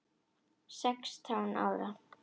Sextán ára?